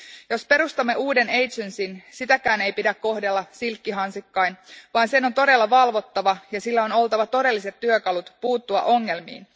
Jos perustamme uuden viraston, sitäkään ei pidä kohdella silkkihansikkain, vaan sen on todella valvottava ja sillä on oltava todelliset työkalut puuttua ongelmiin.